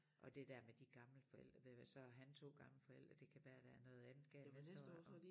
Og det der med de gamle forældre det da så har han 2 gamle forældre det kan være der er noget andet galt næste år og